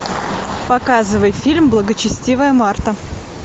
показывай фильм благочестивая марта